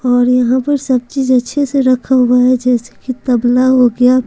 और यहां पर सब चीज अच्छे से रखा हुआ है जैसे कि तबला हो गया।